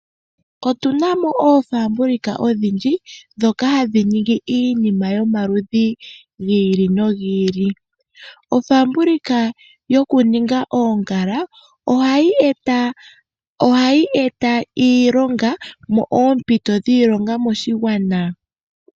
Otu na mo oofaabulika odhindji ndhoka hadhi ningi iinima yomaludhi gi ili nogi ili. Ofaabulika yokuninga oongala ohayi eta oompito dhiilonga moshigwana.